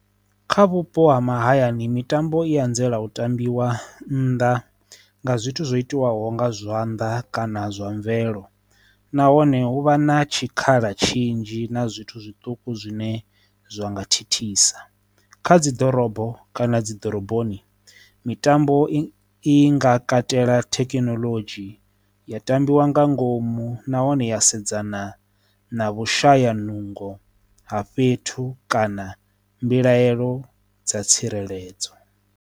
Kha vhupo ha mahayani mitambo i anzela u tambiwa nnḓa nga zwithu zwo itiwaho nga zwanḓa kana zwa mvelo nahone hu vha na tshikhala tshinzhi na zwithu zwiṱuku zwine zwa nga thithisa, kha dzi ḓorobo kana dzi ḓoroboni mitambo i i nga katela thekinoḽodzhi ya tambiwa nga ngomu nahone ya sedzana na vhushaya nungo ha fhethu kana mbilahelo dza tsireledzo.